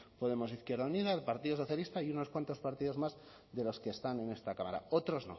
podemos izquierda unida el partido socialista y unas cuantos partidos más de los que están en esta cámara otros